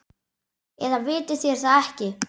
Eða vitið þér það ekki.